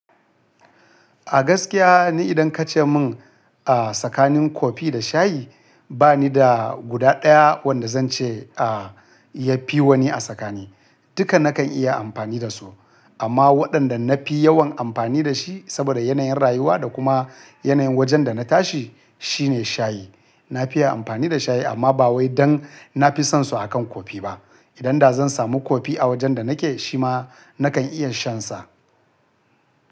A gaskiya ne idan ka ce mun a tsakanin kofi da shayi ba ni da guda ɗaya wanda zan ce a ya fi wani a tsakani. Duka nakan iya amfani da su amma waɗanda na fi yawan amfani da shi saboda yanayin rayuwa da kuma yanayin wajen da na tashi shine shayi. Na fiya amfani da shayi amma ba wai dan na fi son su akan kofi ba. Idan da zan samu kofi a wajen da nake shi ma nakan iya shan sa.